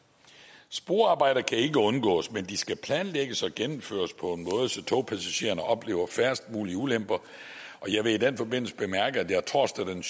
sporarbejder kan ikke undgås men de skal planlægges og gennemføres på en måde så togpassagererne oplever færrest mulige ulemper og jeg vil i den forbindelse bemærke at jeg torsdag den